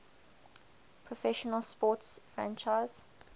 professional sports franchise